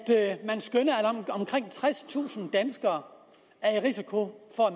omkring tredstusind danskere er i risiko for at